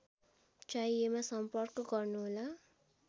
चाहिएमा सम्पर्क गर्नुहोला